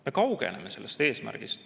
Me kaugeneme sellest eesmärgist.